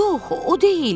Yox, o deyil.